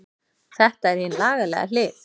Þetta er hin lagalega hlið.